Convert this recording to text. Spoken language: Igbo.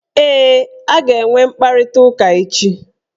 Ee, a ga-enwe mkparịtaụka echi